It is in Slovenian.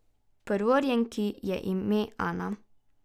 Prvorojenki je ime Ana.